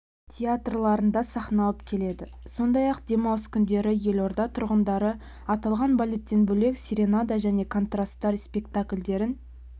театрларында сахналанып келеді сондай-ақ демалыс күндері елорда тұрғындары аталған балеттен бөлек серенада және контраст-тар спектакльдерін